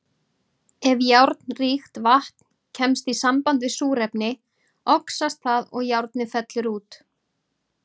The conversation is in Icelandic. Ef járnríkt vatn kemst í samband við súrefni, oxast það og járnið fellur út.